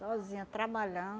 Sozinha, trabalhando.